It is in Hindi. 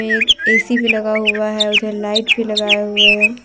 एक ए_सी भी लगा हुआ हैं उधर लाइट भी लगाया हुआ हैं ।